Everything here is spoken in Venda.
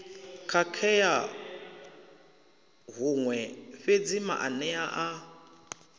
khakhea huṅwe fhedzi maanea a